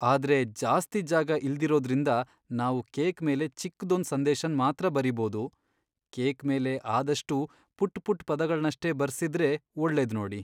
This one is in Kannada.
ಆದ್ರೆ ಜಾಸ್ತಿ ಜಾಗ ಇಲ್ದಿರೋದ್ರಿಂದ, ನಾವು ಕೇಕ್ ಮೇಲೆ ಚಿಕ್ದೊಂದ್ ಸಂದೇಶನ್ ಮಾತ್ರ ಬರೀಬೋದು. ಕೇಕ್ ಮೇಲೆ ಆದಷ್ಟೂ ಪುಟ್ಪುಟ್ ಪದಗಳ್ನಷ್ಟೇ ಬರ್ಸಿದ್ರೆ ಒಳ್ಳೇದು ನೋಡಿ.